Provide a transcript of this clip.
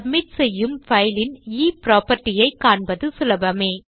submit செய்யும் file இன் e property ஐ காண்பது சுலபமே